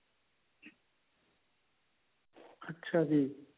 ਅੱਛਾ ਜੀ